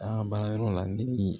A baarayɔrɔ la ne